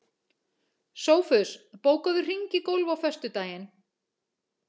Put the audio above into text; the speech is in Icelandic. Sófus, bókaðu hring í golf á föstudaginn.